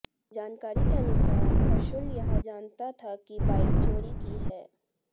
जानकारी के अनुसार अंशुल यह जानता था कि बाइक चोरी की है